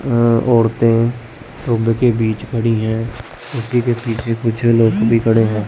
औरतें कुंभ के बीच खड़ी हैं और उसकी के पीछे-पीछे लोग भी खड़े हैं।